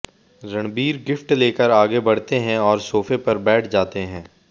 Ranbir gift लेकर आगे बढ़ते हैं और सोफ पर बैठ जाते हैं